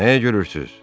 Nə gülürsüz?